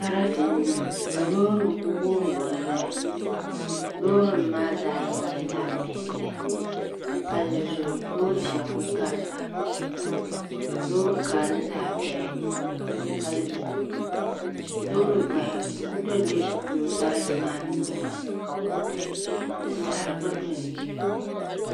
Sarati n niŋ ka loori nim ku wurim wurim ʒɛya loori nim maa zaɣ yini nyɛla zaɣ piɛlli ka palli zuɣu loori shab ku garita loori kara ni zaɣ bihi ka loori gbaya di ku dondola luɣu shɛli polo sarati maa ni niŋ maa ka kuriti ni saɣari gba do ni